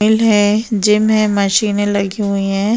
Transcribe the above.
हैं जिम है मशीने लगी हुई हैं।